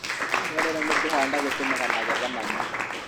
gũcererwo nĩ kũhanda gũtũmaga magetha manyihe